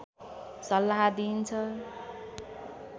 सल्लाह दिइन्छ